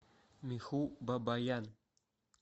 миху бабаян